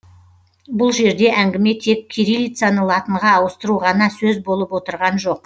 бұл жерде әңгіме тек кирилицаны латынға ауыстыру ғана сөз болып отырған жоқ